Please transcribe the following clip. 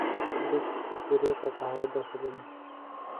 dhig dheriga qaxwada fadlan